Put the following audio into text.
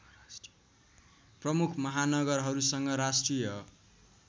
प्रमुख महानगरहरूसँग राष्ट्रिय